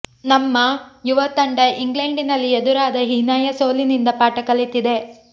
ನಮ್ಮ ಂುುುವ ತಂಡ ಇಂಗ್ಲೆಂಡ್ನಲ್ಲಿ ಎದುರಾದ ಹೀನಾಂುು ಸೋಲಿನಿಂದ ಪಾಠ ಕಲಿತಿದೆ